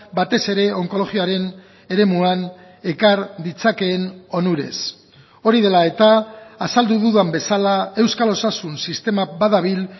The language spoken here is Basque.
batez ere onkologiaren eremuan ekar ditzakeen onurez hori dela eta azaldu dudan bezala euskal osasun sistema badabil